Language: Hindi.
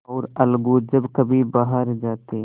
और अलगू जब कभी बाहर जाते